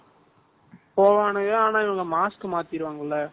வாரானுங்க ஆனா mask மாதிருவாங்கள